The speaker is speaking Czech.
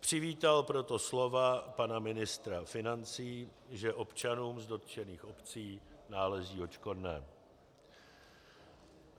Přivítal proto slova pana ministra financí, že občanům z dotčených obcí náleží odškodné.